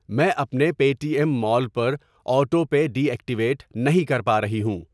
میں اپنے Paytm mall پر آٹو پے ڈی ایکٹیویٹ نہیں کر پا رہی ہوں۔